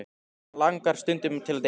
Hana langar stundum til að deyja.